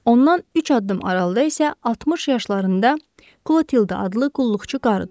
Ondan üç addım aralıda isə 60 yaşlarında Klotilda adlı qulluqçu qarı durub.